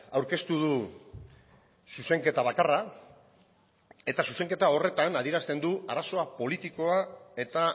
aurkeztu du zuzenketa bakarra eta zuzenketa horretan adierazten du arazoa politikoa eta